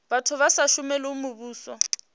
vhathu vha sa shumeli muvhuso